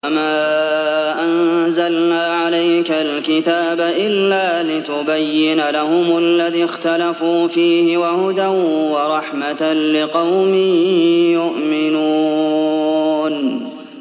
وَمَا أَنزَلْنَا عَلَيْكَ الْكِتَابَ إِلَّا لِتُبَيِّنَ لَهُمُ الَّذِي اخْتَلَفُوا فِيهِ ۙ وَهُدًى وَرَحْمَةً لِّقَوْمٍ يُؤْمِنُونَ